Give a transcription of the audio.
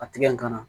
A tigɛ in kana